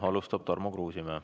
Alustab Tarmo Kruusimäe.